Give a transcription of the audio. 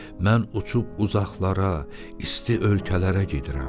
Mən uçub uzaqlara, isti ölkələrə gedirəm.